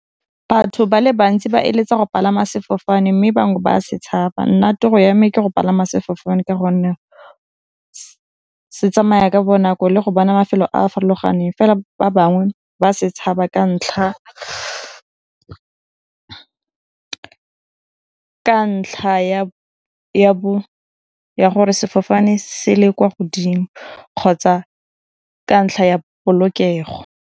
Batho ba le bantsi ba eletsa go palama sefofane mme bangwe ba setshaba. Nna toro ya me ke go palama sefofane ka gonne se tsamaya ka bonako le go bona mafelo a farologaneng, fela ba bangwe ba setshaba ka ntlha ya gore sefofane se le kwa godimo kgotsa ka ntlha ya polokego.